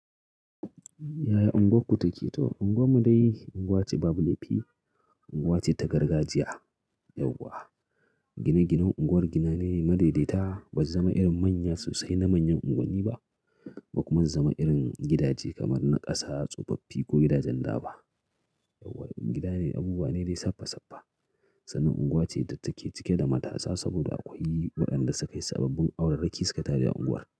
Yaya unguwarku take? To Unguwar mu dai unguwa ce babu lefi, unguwa ce ta gargajiya yauwa gine-ginen unguwar gina ne madaidaita. Ban zama irin manya sosai na manyan unguwanni ba ko kuma in zama irin gidaje kamar na ƙasa tsofaffi ko gidajen da ba. Yauwa in gida ne abubuwa ne dai saffa saffa. Sannan unguwa ce da take cike da matasa saboda akwai waɗanda suka yi sababbin auraraki suka taje unguwar.